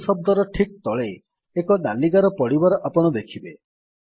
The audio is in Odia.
ଭୁଲ୍ ଶବ୍ଦର ଠିକ୍ ତଳେ ଏକ ନାଲି ଗାର ପଡିବାର ଆପଣ ଦେଖିବେ